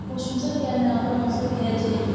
Xoşumuza gəlməyən adam olsa deyəcəyik: